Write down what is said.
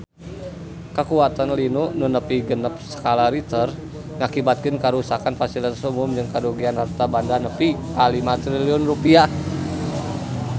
Kakuatan lini nu nepi genep skala Richter ngakibatkeun karuksakan pasilitas umum jeung karugian harta banda nepi ka 5 triliun rupiah